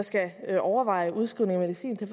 skal overveje udskrivning af medicin til